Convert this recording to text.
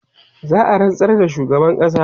za'a rantsar da shugaban ƙasa